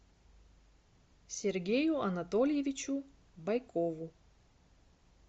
сергею анатольевичу байкову